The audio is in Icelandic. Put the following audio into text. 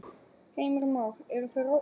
Heimir Már: Eru þau ráðalaus?